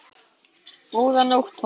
Góða nótt, Thomas